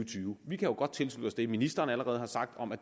tyve vi kan godt tilslutte os det ministeren allerede har sagt om at